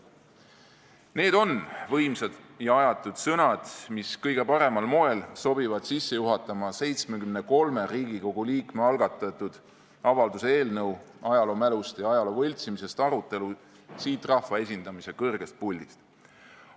" Need on võimsad ja ajatud sõnad, mis kõige paremal moel sobivad sisse juhatama 73 Riigikogu liikme algatatud avalduse "Ajaloomälust ja ajaloo võltsimisest" eelnõu arutelu siit rahva esindamise kõrgest puldist.